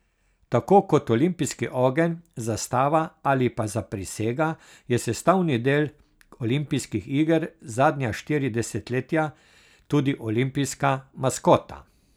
Tako kot olimpijski ogenj, zastava ali pa zaprisega je sestavni del olimpijskih iger zadnja štiri desetletja tudi olimpijska maskota.